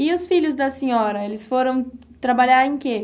E os filhos da senhora, eles foram trabalhar em quê?